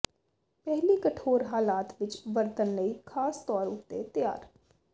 ਪਹਿਲੀ ਕਠੋਰ ਹਾਲਾਤ ਵਿੱਚ ਵਰਤਣ ਲਈ ਖਾਸ ਤੌਰ ਉੱਤੇ ਤਿਆਰ